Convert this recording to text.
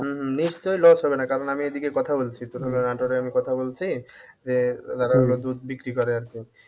উম হম নিশ্চয় loss হবে না কারণ তোর নাটোরে আমি এদিকে কথা বলছি যে যারা হলো দুধ বিক্রি করে আরকি